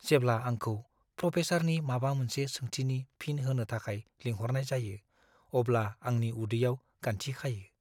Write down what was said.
जेब्ला आंखौ प्रफेसारनि माबा मोनसे सोंथिनि फिन होनो थाखाय लिंहरनाय जायो अब्ला आंनि उदैयाव गान्थि खायो।